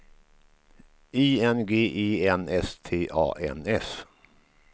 I N G E N S T A N S